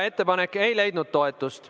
Ettepanek ei leidnud toetust.